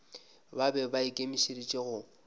ba be ba ikemišeditše go